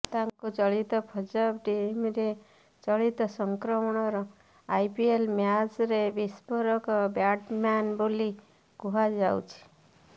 ତାଙ୍କୁ ଚଳିତ ପଂଜାବ ଟିମରେ ଚଳିତ ସଂସ୍କରଣର ଆଇପିଏଲ ମ୍ୟାଚରେ ବିସ୍ଫୋରକ ବ୍ୟାଟସ୍ମ୍ୟାନ ବୋଲି କୁହାଯାଉଛି